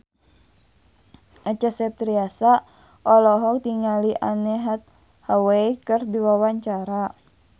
Acha Septriasa olohok ningali Anne Hathaway keur diwawancara